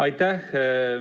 Aitäh!